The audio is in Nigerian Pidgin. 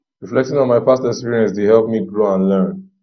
reflecting on my past experiences dey help me grow and learn